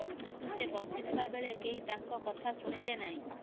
କିନ୍ତୁ ସେ ବଞ୍ଚିଥିବା ବେଳେ କେହି ତାଙ୍କ କଥା ଶୁଣିଲେ ନାହିଁ